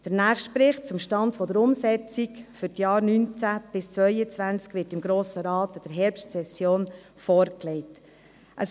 Der nächste Bericht zum Stand der Umsetzung für die Jahre 2019–2022 wird dem Grossen Rat in der Herbstsession vorgelegt werden.